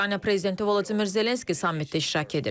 Ukrayna prezidenti Vladimir Zelenski sammitdə iştirak edir.